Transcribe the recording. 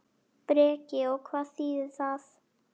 Breki: Og hvað þýðir það?